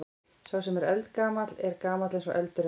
Sá sem er eldgamall er gamall eins og eldurinn.